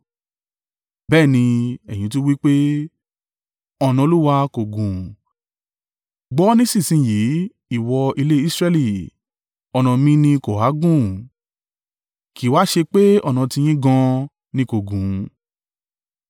“Bẹ́ẹ̀ ni, ẹ̀yin tún wí pé, ‘Ọ̀nà Olúwa kò gún.’ Gbọ́ nísinsin yìí, ìwọ ilé Israẹli. Ọ̀nà mi ni kò ha gún? Kì í wa ṣé pé ọ̀nà tiyín gan an ni kò gún?